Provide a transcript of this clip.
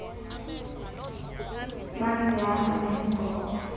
manzi ahamba ngemibhobho